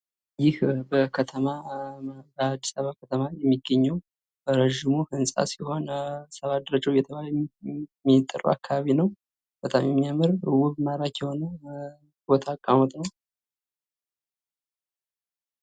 ይህ በአዲስአበባ ከተማ የሚገኘው ረጅሙ ህንፃ ሲሆን ሰባ ደረጃ እየተባለ የሚጠራው አካባቢ ነው። በጣም የሚያምር ውብ ማራኪ የሆነ ቦታ አቀማመጥ ነው።